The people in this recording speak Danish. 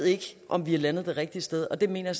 om vi er landet det rigtige sted og det mener